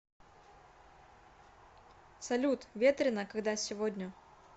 салют ветрена когда сегодня